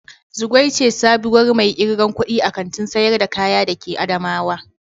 Zugwai ce sabuwar mai irgan kuɗi a Kantin sayar da kaya da ke adamawa.